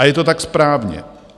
A je to tak správně.